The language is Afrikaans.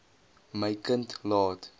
my kind laat